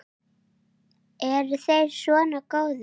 Eru þeir svona góðir?